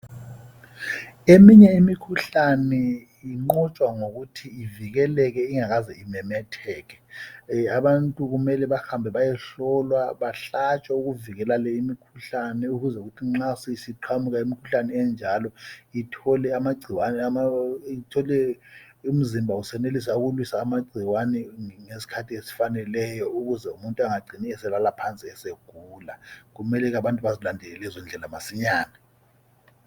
Eminye imikhuhlane inqotshwa ngokuthi ivikeleke ingakaze imemetheke abantu kumele behambe beyehlolwa behlatshwe ukuvikela leyi imikhuhlane ukuze nxa sesiqhamuka imikhuhlane enjalo ithole umzimba esenelisa ukulwisa amagcikwane ngesikhathi esifaneleyo ukuze umuntu engacini elala phansi egula kumele ke abantu bezilandele lezo ndlela masinyane